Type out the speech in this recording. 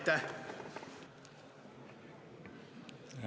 Aitäh!